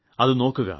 അത് നോക്കുക